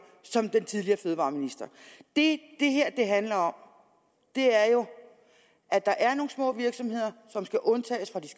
den tidligere fødevareminister det det her handler om er jo at der er nogle små virksomheder som skal undtages fra den